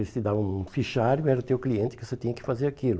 Eles te davam um fichário, era teu cliente que você tinha que fazer aquilo.